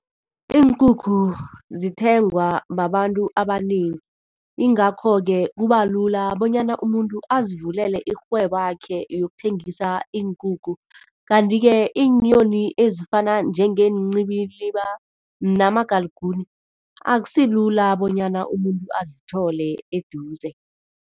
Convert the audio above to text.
Iinkukhu zithengwa babantu abanengi, ingakho-ke kubalula bonyana umuntu azivulele irhwebakhe yokuthengisa iinkukhu, kanti-ke iinyoni ezifana njengeenciliba namagalikuni akusilula bonyana umuntu azithole eduze.